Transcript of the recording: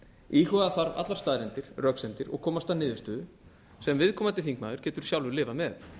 íhuga þarf allar staðreyndir röksemdir og komast að niðurstöðu sem viðkomandi þingmaður getur sjálfur lifað með